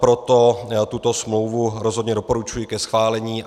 Proto tuto smlouvu rozhodně doporučuji ke schválení.